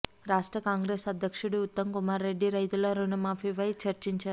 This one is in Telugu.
రాష్ట్ర కాంగ్రెస్ అధ్యక్షుడు ఉత్తమ్ కుమార్ రెడ్డి రైతుల రుణమాఫీపై చర్చించారు